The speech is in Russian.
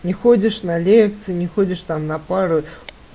не ходишь на лекции не ходишь там на пару